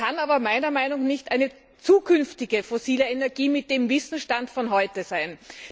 Das kann aber meiner Meinung nach nicht eine zukünftige fossile Energie mit dem Wissensstand von heute sein.